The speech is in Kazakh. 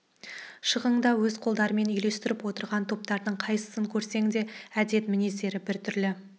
шығыңды өз қолдарымен үлестіріп отырған топтардың қайсысын көрсең де әдет-мінездері бір түрлі